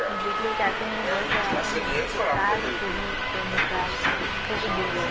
ଜେଟବେଳେ ଚାଷୀମାନେ ଗରିବ chemical ଦେଇସନ